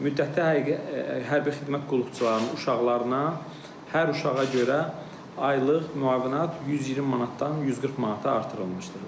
Müddəti hərbi xidmət qulluqçularının uşaqlarına hər uşağa görə aylıq müavinat 120 manatdan 140 manata artırılmışdır.